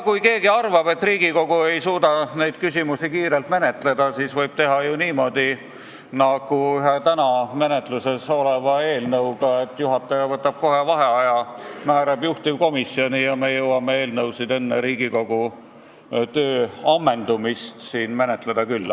Kui keegi arvab, et Riigikogu ei suuda neid küsimusi kiirelt menetleda, siis võib teha ju niimoodi nagu ühe täna menetluses oleva eelnõuga, et juhataja võtab kohe vaheaja, määrab juhtivkomisjoni ja me jõuame eelnõu enne Riigikogu töö ammendumist siin menetleda küll.